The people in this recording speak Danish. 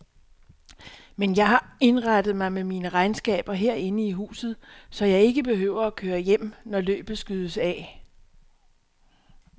Men jeg har indrettet mig med mine regnskaber herinde i huset, så jeg ikke behøver at køre hjem, når løbet skydes af.